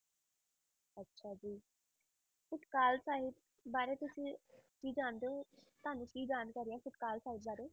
ਤਤਕਾਲ ਸਾਹਿਬ ਬਾਰੇ ਤੁਸੀਂ ਕੀ ਜਾਣਦੇ ਹੋ ਤੁਹਾਨੂੰ ਕੀ ਜਾਣਕਾਰੀ ਹੈ ਤਤਕਾਲ ਸਾਹਿਤ ਬਾਰੇ?